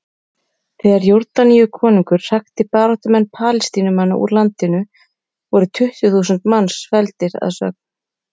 Þegar Jórdaníukonungur hrakti baráttumenn Palestínumanna úr landinu, voru tuttugu þúsund manns felldir að sögn.